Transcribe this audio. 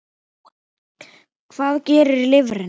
Hvað gerir lifrin?